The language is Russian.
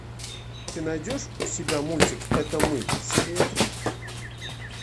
ты найдешь у себя мультик это мы серия три